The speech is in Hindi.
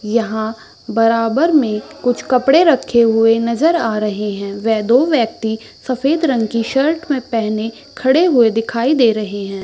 यहाँ बराबर मे कुछ कपड़े रखे हुए नज़र आ रहे है वे दो व्यक्ति सफ़ेद रंग कि शर्ट मे पेहने खड़े हुए दिखाई दे रहे है।